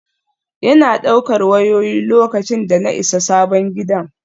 Yana ɗaukar wayoyi, lokacin da na isa sabon gidan.